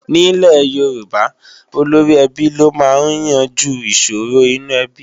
Nílẹ̀ Yorùbá, olóríẹbí ló máa ń yanjú ìṣòro inú ẹbí